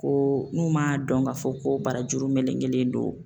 Ko n'u m'a dɔn k'a fɔ ko barajuru melekelen don.